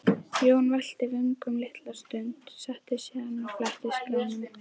Jón velti vöngum litla stund, settist síðan og fletti skránum.